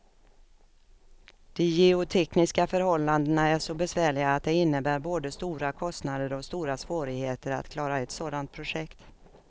De geotekniska förhållandena är så besvärliga att det innebär både stora kostnader och stora svårigheter att klara ett sådant projekt.